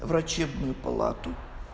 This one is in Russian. врачебную палату